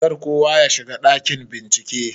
Kar kowa yashiga ɗakin bincike.